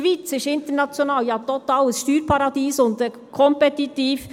Die Schweiz ist international ein totales Steuerparadies und kompetitiv.